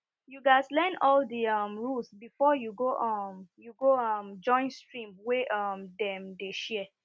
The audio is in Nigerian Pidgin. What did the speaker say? you gas learn all di um rules before you go um you go um join stream wey um dem dey share